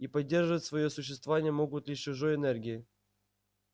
и поддерживать своё существование могут лишь чужой энергией